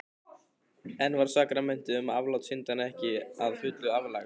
Enn var sakramentið um aflát syndanna ekki að fullu aflagt.